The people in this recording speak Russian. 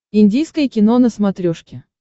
индийское кино на смотрешке